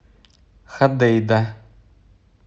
ходейда